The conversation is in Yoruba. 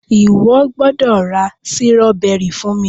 iwọ gbódò ra Sírọ́bẹ́rì fún mí!.